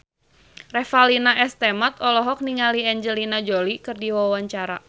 Revalina S. Temat olohok ningali Angelina Jolie keur diwawancara